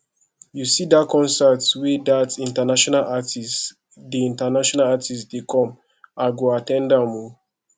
you see that concert wey that international artists dey international artists dey come i go at ten d am o